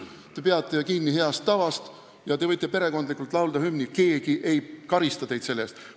Te peate ju kinni heast tavast ja te võite perekondlikult hümni laulda – keegi ei karista teid selle eest.